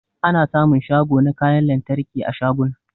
Ana sa mun shago na kayan lantarki a shaguna